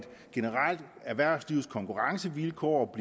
erhvervslivets konkurrencevilkår